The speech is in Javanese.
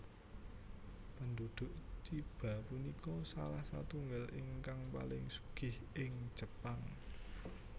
Penduduk Chiba punika salah satunggal ingkang paling sugih ing Jepang